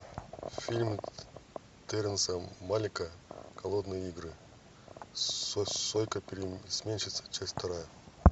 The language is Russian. фильм терренса малика голодные игры сойка пересмешница часть вторая